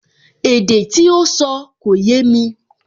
Èdè tí ó sọ kò yémi